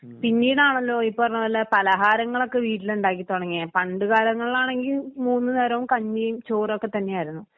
പിന്നീടാണല്ലോ ഈ പറഞ്ഞപോലെ പലഹാരങ്ങളൊക്കെ വീട്ടിലുണ്ടാക്കി തുടങ്ങിയെ പണ്ടുകാലങ്ങളിലാണെങ്കിൽ മൂന്നുനേരവും കഞ്ഞിയും ചോറും ഒക്കെ തന്നെയായിരുന്നു.